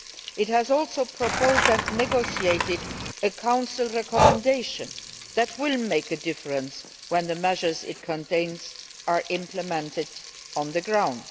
It has also proposed and negotiated a Council recommendation that will make a difference when the measures it contains are implemented on the ground.